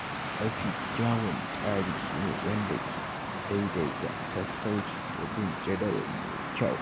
Mafi kyawun tsari shi ne wanda ke daidaita sassauci da bin jadawali mai kyau.